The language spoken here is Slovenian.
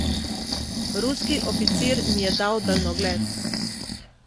Ruski oficir mi je dal daljnogled.